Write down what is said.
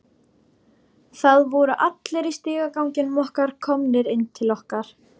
Það voru allir í stigaganginum komnir inn til okkar.